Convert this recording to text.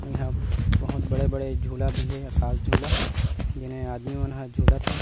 इहा बहुत बड़े-बड़े झूला भी हे आकाश झूला जिहा आदमी मन ह झूलत हे।